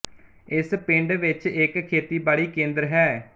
ਇਸ ਪਿੰਡ ਵਿਚ ਇੱਕ ਖੇਤੀ ਬਾੜੀ ਕੇਂਦਰ ਹੈ